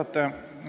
Austatud juhataja!